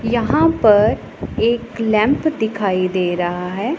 यहां पर एक लैंप दिखाई दे रहा है।